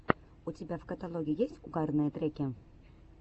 у тебя в каталоге есть угарные треки